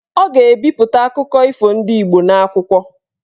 Ọ ga-ebipụta akụkọ ifo ndị Igbo n'akwụkwọ.